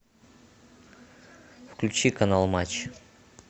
включи канал матч